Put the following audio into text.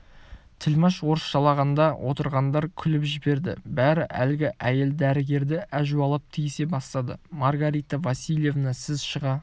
тілмаш орысшалағанда отырғандар күліп жіберді бәрі әлгі әйел дәрігерді әжуалап тиісе бастады маргарита васильевна сіз шыға